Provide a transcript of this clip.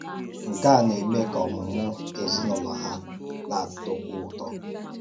Nke a na-eme ka ọmụ̀mụ̀ um ezinụlọ hà na-átọ̀kwù ụtọ.